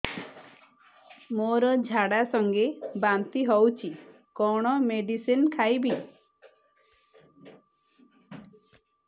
ମୋର ଝାଡା ସଂଗେ ବାନ୍ତି ହଉଚି କଣ ମେଡିସିନ ଖାଇବି